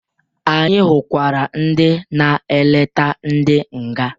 Anyị hụkwara ndị na-eleta ndị nga.